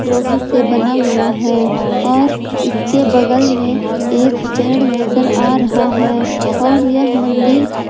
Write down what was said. लोहे से बना हुआ है और इसके बगल में एक पेड़ नजर आ रहा है और यह मंदिर--